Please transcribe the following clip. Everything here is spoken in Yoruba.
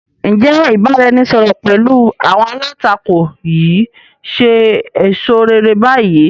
Ǹ jẹ́ ìbáraẹnisọọ̀rọ̀ pẹ̀lú àwọn alátakò yìí ṣe èso réré bayi?